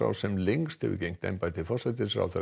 sem lengst hefur gegnt embætti forsætisráðherra